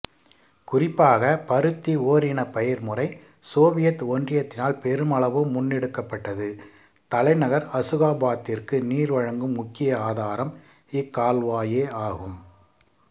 குறிப்பாக பருத்தி ஓரினப்பயிர் முறை சோவியத் ஒன்றியத்தினால் பெருமளவு முன்னெடுக்கப்பட்டது தலைநகர் அசுகாபாதிற்கு நீர்வழங்கும் முக்கிய ஆதாரம் இக்கால்வாயே ஆகும்